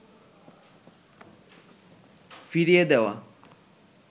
ফিরিয়ে দেওয়া